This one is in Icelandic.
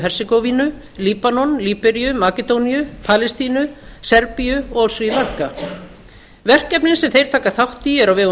hersegóvínu líbanon líberíu makedóníu palestínu serbíu og á sri lanka verkefnin sem þeir taka þátt í eru á vegum